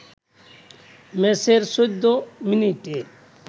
ম্যাচের ১৪ মিনিটে